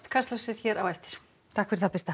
kastljósið hér á eftir takk fyrir það Birta